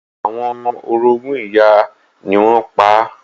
Àwọn orogún ìyá rẹ̀ ni wọ́n pa á.